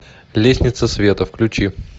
лестница света включи